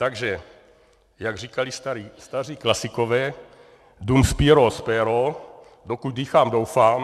Takže jak říkali staří klasikové, dum spiro spero - dokud dýchám, doufám.